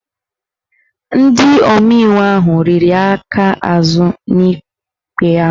Ndị omeiwu ahụ riri aka azụ n'ikpe ahụ